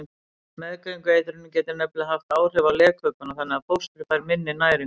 Meðgöngueitrunin getur nefnilega haft áhrif á legkökuna þannig að fóstrið fær minni næringu.